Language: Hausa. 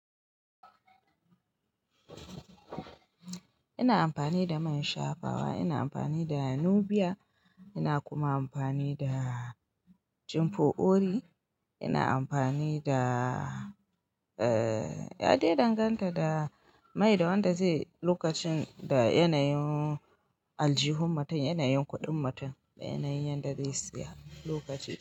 Ina amfani da man shafawa, ina amfani da nnu biya, ina kuma amfani da cinfo ori, ina amfani da, eh, ya dai danganta da mai da wanda zai lokacin da yanayin aljihun matar, yanayin kuɗin matar da yanayin yanda zai saya lokacin.